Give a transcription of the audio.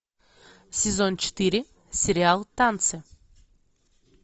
сезон четыре сериал танцы